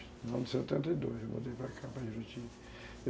No ano de setenta e dois eu mudei para cá.